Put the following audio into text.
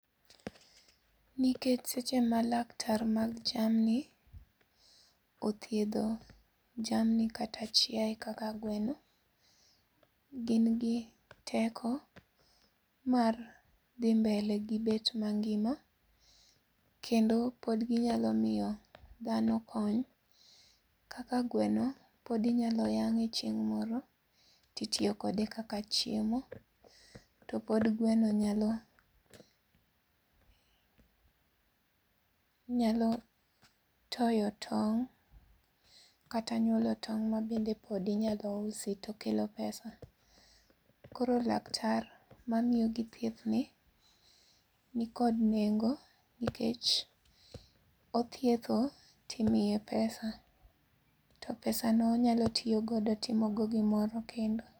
Nikech seche ma laktar mag jamni othiedho jamni kata chiaye kaka gweno, gin gi teko mar dhi mbele gi bet mangima kendo pod ginyalo miyo dhano kony kaka gweno pod inyalo yang'e chieng' moro to itiyo kode kaka chiemo to pod gweno nyalo toyo tong' kata nyuolo tong' ma bende pod inyalo usi to kelo pesa. Koro laktar mamiyogi thiethni nikod nengo, nikech othietho to imiye pesa to pesa no onyalo timo go gimoro kendo.